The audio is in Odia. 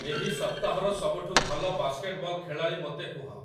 ଏହି ସପ୍ତାହର ସବୁଠୁ ଭଲ ବାସ୍କେଟବଲ୍ ଖେଳାଳି ମୋତେ କୁହ